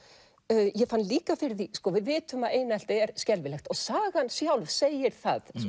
ég fann líka fyrir því sko við vitum að einelti er skelfilegt og sagan sjálf segir það